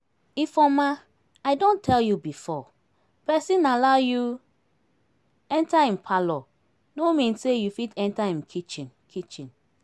Ifeoma I don tell you before, person allow you enter im parlour no mean say you fit enter im kitchen kitchen